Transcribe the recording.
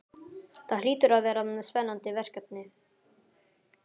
Það hlýtur að vera spennandi verkefni?